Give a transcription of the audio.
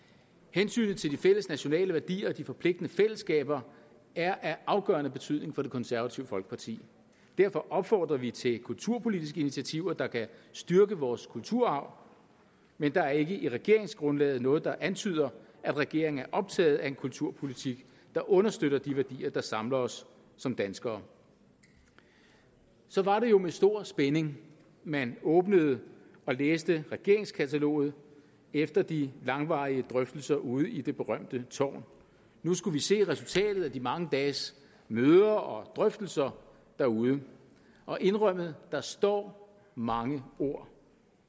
hensynet til de fælles nationale værdier og de forpligtende fællesskaber er af afgørende betydning for det konservative folkeparti derfor opfordrer vi til kulturpolitiske initiativer der kan styrke vores kulturarv men der er ikke i regeringsgrundlaget noget der antyder at regeringen er optaget af en kulturpolitik der understøtter de værdier der samler os som danskere så var det jo med stor spænding man åbnede og læste regeringskataloget efter de langvarige drøftelser ude i det berømte tårn nu skulle vi se resultatet af de mange dages møder og drøftelser derude og indrømmet der står mange ord